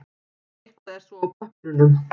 Eitthvað er svo á pappírunum